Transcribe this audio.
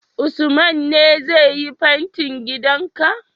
Usman ne zai yi ma fentin gidan ka?